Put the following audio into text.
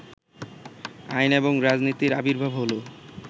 আইন এবং রাজনীতির আবির্ভাব হলো